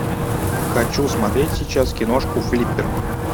хочу смотреть сейчас киношку флиппер